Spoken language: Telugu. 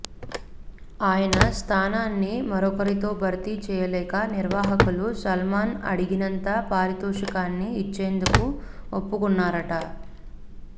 ఆయన స్థానాన్ని మరొకరితో భర్తీ చేయలేక నిర్వాహకులు సల్మాన్ అడిగినంత పారితోషికాన్ని ఇచ్చేందుకు ఒప్పుకొన్నారట